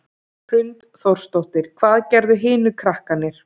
Hrund Þórsdóttir: Hvað gerðu hinir krakkarnir?